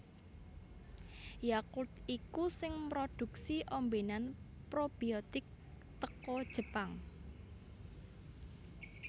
Yakult iku sing mroduksi ombenan probiotik teko Jepang